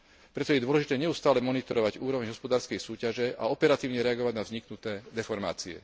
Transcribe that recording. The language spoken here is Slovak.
Preto je dôležité neustále monitorovať úroveň hospodárskej súťaže a operatívne reagovať na vzniknuté deformácie.